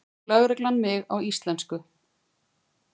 spyr lögreglan mig á íslensku.